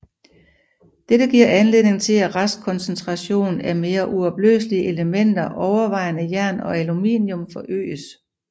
Dette giver anledning til at restkoncentration af mere uopløselige elementer overvejende jern og aluminum forøges